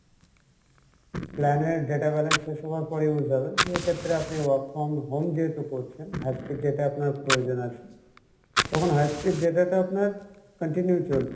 plan এর data balance হিসেবে আপনার use হবে যেহেতু তারপরে আপনি work from home যেহেতু করছেন high speed data আপনার প্রয়োজন আছে তখন high speed data টা আপনার continue চল